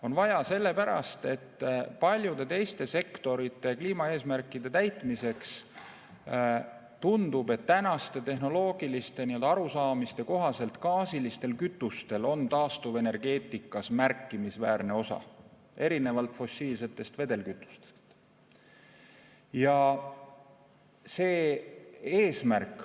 On vaja sellepärast, et paljude teiste sektorite kliimaeesmärkide täitmiseks tundub, et tänaste tehnoloogiliste arusaamade kohaselt gaasilistel kütustel on taastuvenergeetikas märkimisväärne osa, erinevalt fossiilsetest vedelkütustest.